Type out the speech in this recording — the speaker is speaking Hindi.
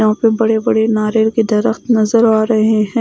यहां पे बड़े बड़े नारियल के दिरख्त नजर आ रहे हैं।